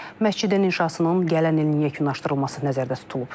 Məscidin inşasının gələn ilin yekunlaşdırılması nəzərdə tutulub.